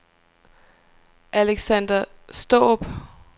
Aleksander Straarup